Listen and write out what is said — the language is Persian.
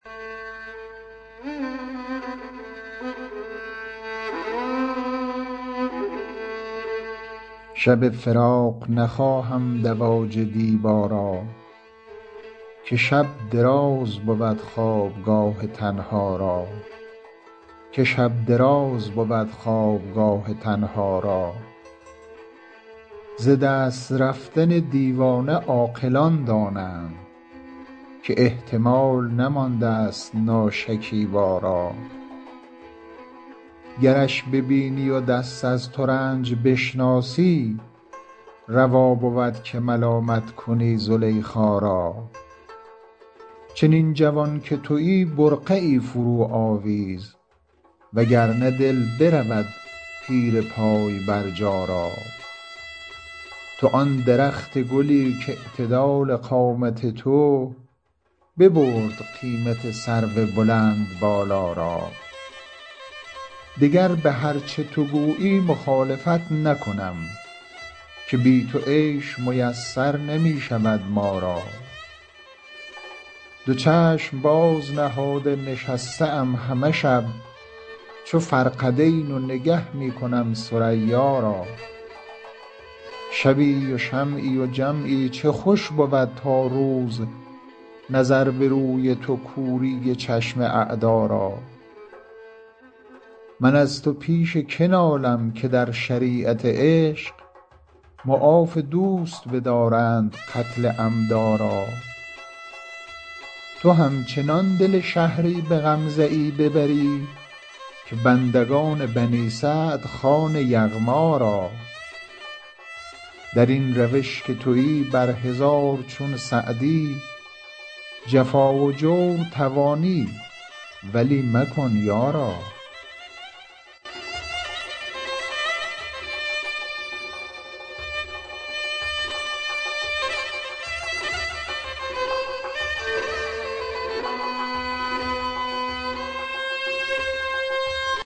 شب فراق نخواهم دواج دیبا را که شب دراز بود خوابگاه تنها را ز دست رفتن دیوانه عاقلان دانند که احتمال نماندست ناشکیبا را گرش ببینی و دست از ترنج بشناسی روا بود که ملامت کنی زلیخا را چنین جوان که تویی برقعی فروآویز و گر نه دل برود پیر پای برجا را تو آن درخت گلی کاعتدال قامت تو ببرد قیمت سرو بلندبالا را دگر به هر چه تو گویی مخالفت نکنم که بی تو عیش میسر نمی شود ما را دو چشم باز نهاده نشسته ام همه شب چو فرقدین و نگه می کنم ثریا را شبی و شمعی و جمعی چه خوش بود تا روز نظر به روی تو کوری چشم اعدا را من از تو پیش که نالم که در شریعت عشق معاف دوست بدارند قتل عمدا را تو همچنان دل شهری به غمزه ای ببری که بندگان بنی سعد خوان یغما را در این روش که تویی بر هزار چون سعدی جفا و جور توانی ولی مکن یارا